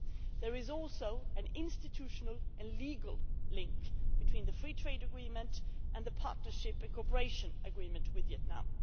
There is also an institutional and legal link between the Free Trade Agreement and the Partnership and Cooperation Agreement with Vietnam.